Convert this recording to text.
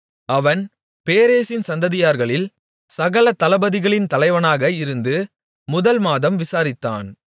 அவன் பேரேசின் சந்ததியார்களில் சகல தளபதிகளின் தலைவனாக இருந்து முதல் மாதம் விசாரித்தான்